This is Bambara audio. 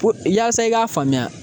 Pu yaasa i k'a faamuya